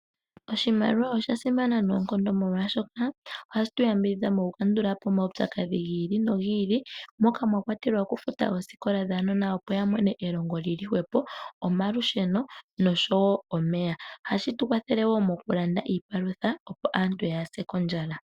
Oshimaliwa osha simana noonkondo molwaashoka ohashi tuyambidhidhadha oku kandulapo omaudhigu giili nogiili moka mwakwatelwa osikola opo aanona yamone elongo lili hwepo, omalusheno noshowo omeya. Ohashi tukwathele woo okulanda iipalutha opo aantu yaase kondjala.